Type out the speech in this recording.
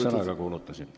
Selge sõnaga kuulutasin.